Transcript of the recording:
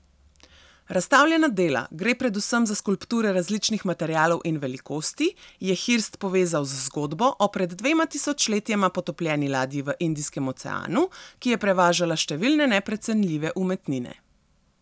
Razstavljena dela, gre predvsem za skulpture različnih materialov in velikosti, je Hirst povezal z zgodbo o pred dvema tisočletjema potopljeni ladji v Indijskem oceanu, ki je prevažala številne neprecenljive umetnine.